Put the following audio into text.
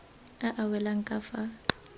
a a welang ka fa